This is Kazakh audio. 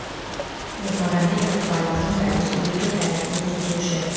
ермағамбет лұқпанов журналист өлке тарихын зерттеуші